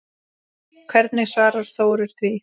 Hvernig svarar Þórir því?